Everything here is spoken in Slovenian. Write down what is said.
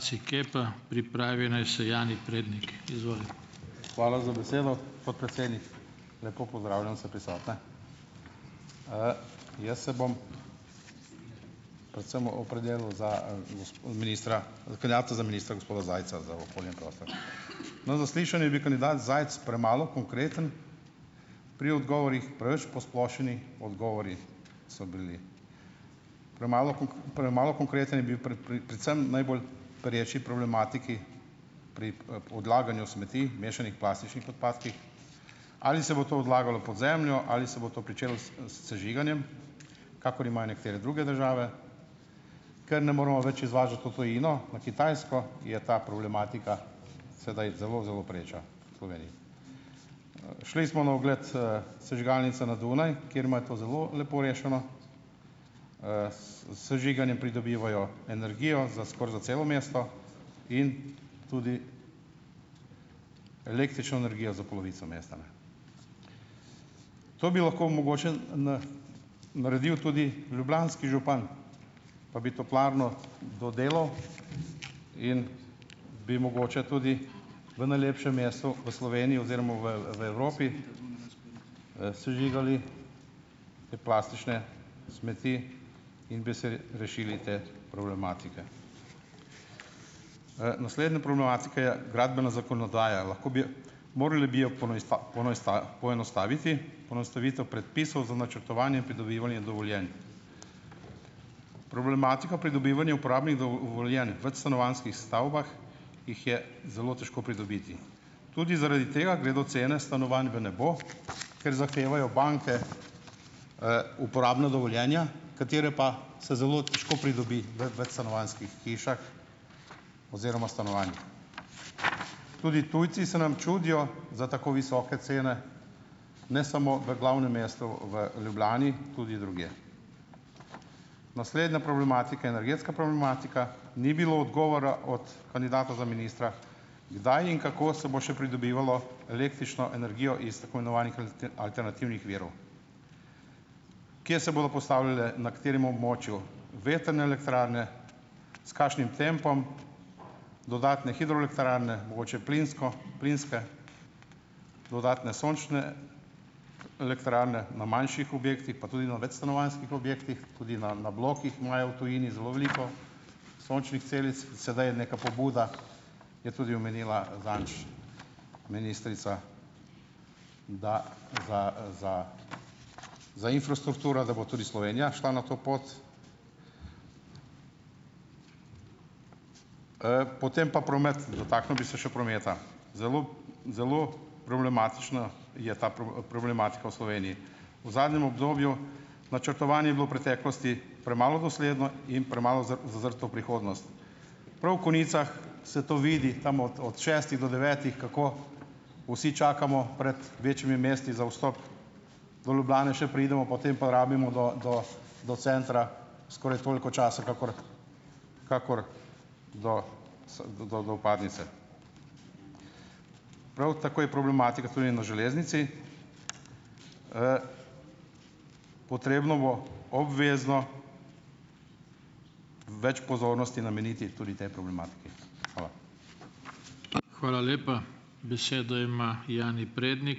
Hvala za besedo, podpredsednik. Lepo pozdravljam vse prisotne! Jaz se bom predvsem opredelil za ministra ministra gospoda Zajca za okolje in prostor. Na zaslišanju je bil kandidat Zajc premalo konkreten pri odgovorih, preveč posplošeni odgovori so bili. Premalo premalo konkreten je bil predvsem najbolj pereči problematiki, pri, odlaganju smeti, mešanih plastičnih odpadkih, ali se bo to odlagalo pod zemljo ali se bo to pričelo s s sežiganjem, kakor imajo nekatere druge države, ker ne moremo več izvažati v tujino, Kitajsko, je ta problematika sedaj zelo zelo pereča v Sloveniji. Šli smo na ogled, sežigalnice na Dunaj, kjer imajo to zelo lepo rešeno. s s sežiganjem pridobivajo energijo za skoraj za celo mesto in tudi električno energijo za polovico mesta. Ne. To bi lahko mogoče naredil tudi ljubljanski župan, pa bi toplarno dodelal in bi mogoče tudi v najlepšem mestu v Sloveniji oziroma v v Evropi, sežigali plastične smeti in bi se rešili te problematike. Naslednja problematika je gradbena zakonodaja. Lahko bi jo, morali bi jo poenostaviti, ponastavitev predpisov za načrtovanje in pridobivanje dovoljenj. Problematika pridobivanja uporabnih dovoljenj v večstanovanjskih stavbah, jih je zelo težko pridobiti. Tudi zaradi tega gredo cene stanovanj v nebo, ker zahtevajo banke, uporabna dovoljenja, katera pa se zelo težko pridobi v večstanovanjskih hišah oziroma stanovanjih. Tudi tujci se nam čudijo za tako visoke cene, ne samo v glavnem mestu v Ljubljani, tudi drugje. Naslednja problematika je energetska problematika. Ni bilo odgovora od kandidata za ministra, kdaj in kako se bo še pridobivalo električno energijo iz tako imenovanih alternativnih virov. Kje se bodo postavljale, na katerem območju vetrne elektrarne, s kakšnim tempom, dodatne hidroelektrarne, mogoče plinsko, plinske, dodatne sončne elektrarne na manjših objektih pa tudi na večstanovanjskih objektih, tudi na na blokih imajo v tujini zelo veliko sončnih celic. Sedaj je neka pobuda, ki jo je tudi omenila zadnjič ministrica, da za, za za infrastrukturo, da bo tudi Slovenija šla na to pot. Potem pa promet. Dotaknil bi se še prometa. Zelo zelo problematična je ta problematika v Sloveniji. V zadnjem obdobju, načrtovanje je bilo v preteklosti premalo dosledno in premalo zazrto v prihodnost. Prav v konicah se to vidi, dam od od šestih do devetih, kako vsi čakamo pred večjimi mesti za vstop, do Ljubljane še pridemo, potem pa rabimo do do do centra skoraj toliko časa kakor kakor do do do vpadnice. Prav tako je problematika tudi na železnici. Potrebno bo obvezno več pozornosti nameniti tudi tej problematiki. Hvala.